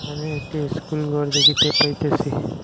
এখানে একটি স্কুলঘর দেখিতে পাইতাছি।